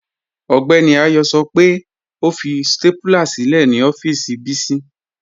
Ọgbẹ́ni Ayọ́ sọ́ pẹ́ ọ fi stápúlà sílẹ̀ ni ọ̀fíìsì Bisi